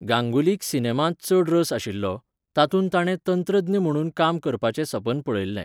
गांगुलीक सिनेमांत चड रस आशिल्लो, तातूंत ताणें तंत्रज्ञ म्हणून काम करपाचें सपन पळयल्लें.